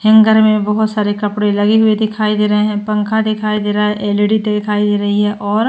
Hanger मे बोहोत सारे कपड़े लगे हुए दिखाई दे रहे हैं। पंखा दिखाई दे रहा है। एलईडी दिखाई दे रही है और --